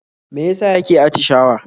Me ya sa yake atishawa?